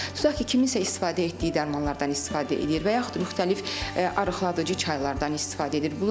Tut ki, kimsə istifadə etdiyi dərmanlardan istifadə eləyir və yaxud müxtəlif arıqladıcı çaylardan istifadə edir.